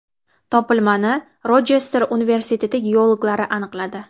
Topilmani Rochester universiteti geologlari aniqladi.